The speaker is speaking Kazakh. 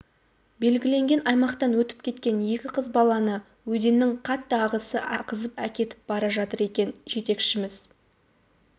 белгіленген аймақтан өтіп кеткен екі қыз баланы өзеннің қатты ағысы ағызып әкетіп бара жатыр екен жетекшіміз